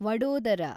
Vadodara